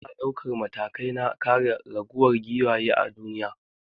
Ana daukan matakai na kare raguwar giwaye a duniya.